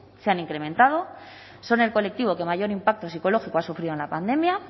se han incrementado son el colectivo que mayor impacto psicológico han sufrido en la pandemia